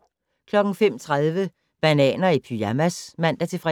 05:30: Bananer i pyjamas (man-fre)